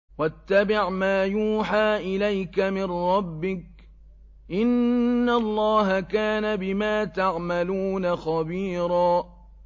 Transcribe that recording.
وَاتَّبِعْ مَا يُوحَىٰ إِلَيْكَ مِن رَّبِّكَ ۚ إِنَّ اللَّهَ كَانَ بِمَا تَعْمَلُونَ خَبِيرًا